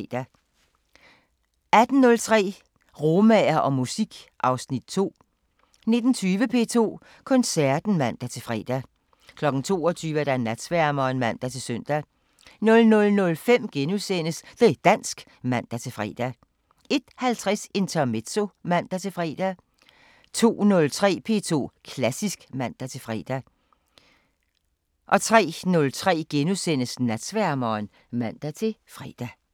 18:03: Romaer og musik: (Afs. 2) 19:20: P2 Koncerten (man-fre) 22:00: Natsværmeren (man-søn) 00:05: Det' dansk *(man-fre) 01:50: Intermezzo (man-fre) 02:03: P2 Klassisk (man-fre) 03:03: Natsværmeren *(man-fre)